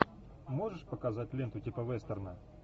можешь показать ленту типа вестерна